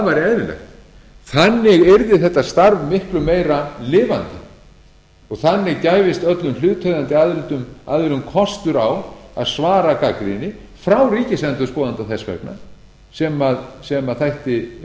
eðlilegt þannig yrði þetta starf miklu meira lifandi og þannig gæfist öllum hlutaðeigandi aðilum kostur á að svara gagnrýni frá ríkisendurskoðanda þess vegna sem þætti